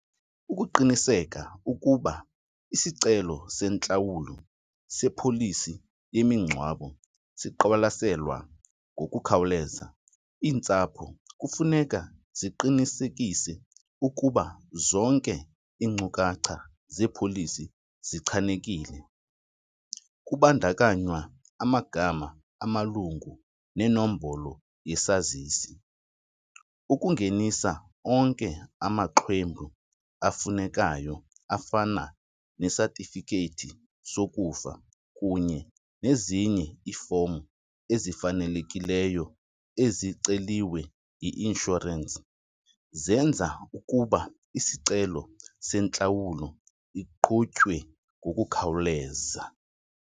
Ukuqiniseka ukuba isicelo sentlawulo sepholisi yemingcwabo siqwalaselwa ngokukhawuleza, iintsapho kufuneka ziqinisekise ukuba zonke iinkcukacha zeepholisi zichanekile kubandakanywa amagama amalungu nenombolo yesazisi. Ukungenisa onke amaxwebhu afunekayo afana nesatifikethi sokufa kunye nezinye iifomu ezifanelekileyo eziceliwe yi-inshorensi, zenza ukuba isicelo sentlawulo iqhutywe ngokukhawuleza.